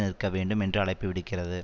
நிற்க வேண்டும் என்று அழைப்பு விடுக்கிறது